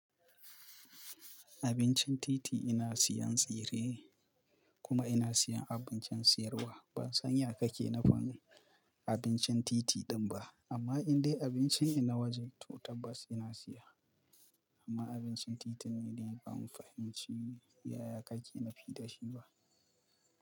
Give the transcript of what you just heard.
Abincin titi ina siyan tsire kuma ina siyan abincin siyarwa. Ban san ya kake nafi abincin titi din ba, amma idan dai abincin i na waje to tabbas ina siya. Amma abincin titin ne dai ban fahimci yaya kake nafi da shi ba.